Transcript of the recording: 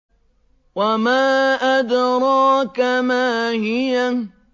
وَمَا أَدْرَاكَ مَا هِيَهْ